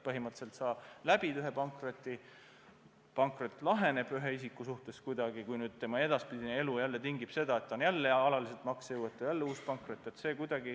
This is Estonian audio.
Põhimõtteliselt ta läbib ühe pankroti, pankrot laheneb kuidagi ja kui tema edaspidine elu jälle tingib seda, et ta on jälle alaliselt maksejõuetu, siis tuleb jälle uus pankrot.